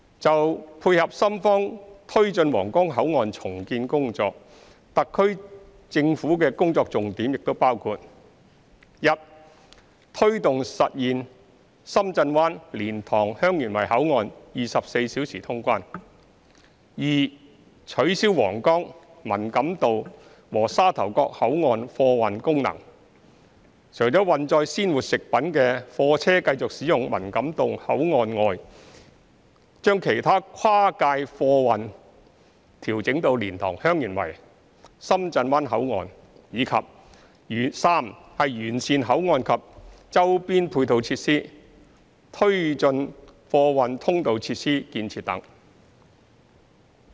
就配合深方推進皇崗口岸重建工作，特區政府的工作重點亦包括：一推動實現深圳灣、蓮塘/香園圍口岸24小時通關；二取消皇崗、文錦渡和沙頭角口岸貨運功能，除運載鮮活食物的貨車繼續使用文錦渡口岸外，將其他跨界貨運調整到蓮塘/香園圍、深圳灣口岸；及三完善口岸及周邊配套設施，推進貨運通道設施建設等。